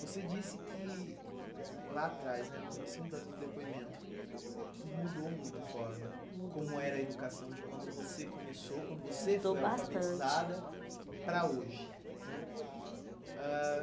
Você disse que lá atrás né, no comecinho da do depoimento, que mudou muito a forma, mudou, como era a educação de quando você começou, quando, mudou bastante, você foi alfabetizada, para hoje né? Ãh